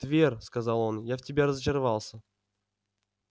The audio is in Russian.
твер сказал он я в тебе разочаровался